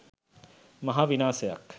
මහා විනාසයක්.